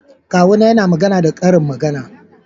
Kawuna yana magana da karin magana